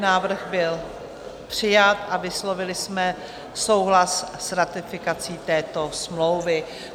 Návrh byl přijat a vyslovili jsme souhlas s ratifikací této smlouvy.